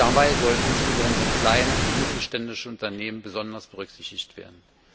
Dabei sollen insbesondere kleine und mittelständische Unternehmen besonders berücksichtigt werden.